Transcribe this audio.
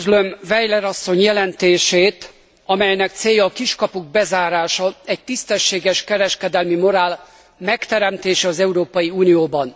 Üdvözlöm Weiler asszony jelentését, amelynek célja a kiskapuk bezárása, egy tisztességes kereskedelmi morál megteremtése az Európai Unióban.